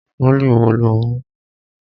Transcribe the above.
Pólì wo lo mú?